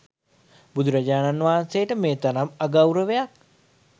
බුදුරජාණන් වහන්සේට මේ තරම් අගෞරවයක්